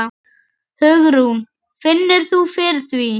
Hugrún: Finnur þú fyrir því?